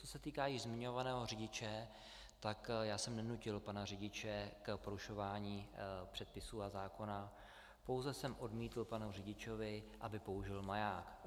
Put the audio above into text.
Co se týká již zmiňovaného řidiče, tak já jsem nenutil pana řidiče k porušování předpisů a zákona, pouze jsem odmítl panu řidiči, aby použil maják.